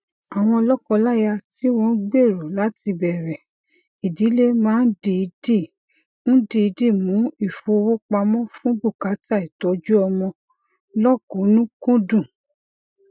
àwọn lọkọláya tí wọn n gbèrò láti bẹrẹ ìdílé máa n dìídì n dìídì mú ìfowópamọ fún bùkátà ìtọjúọmọ lọkùnúnkúndùn